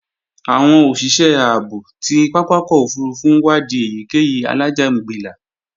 Àwọn òṣìṣẹ́ ààbò ti pápákọ̀ òfurufú ń wadi èyíkéyìí alájàǹgbilà